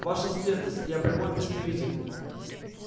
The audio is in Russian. ваша светлость я прямой представитель